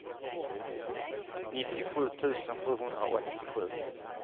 nittiosju tusen sjuhundraåttiosju